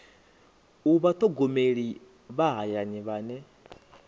u vhathogomeli vha hayani vhane